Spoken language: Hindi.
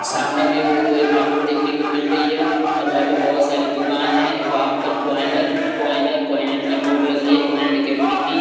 सामने में बहुत बड़ी मार्केट देखने को मिल रही है और वहाँ पे बहुत सारी दुकान है वहाँ पर पॉइनर पॉइनर पॉइनर की बोर्ड लगी हैपॉइनर अकेडमी की--ें